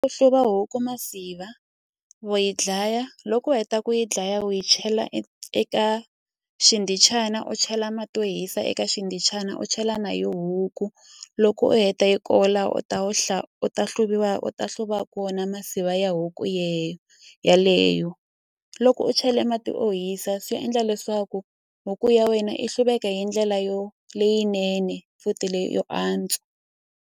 Ku hluva huku masiva wa yi dlaya loko u heta ku yi dlaya u yi chela eka xikhindhichana u chela mati yo hisa eka xindhichana u chela na yo huku loko u heta hi ko la u ta wu u ta hluviwa u ta hluva kona masiva ya huku yeleyo loko u chele mati o hisa swi endla leswaku huku ya wena i hluveka hi ndlela yo leyinene futhi leyo antswa.